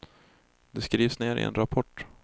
Det skrivs ner i en rapport.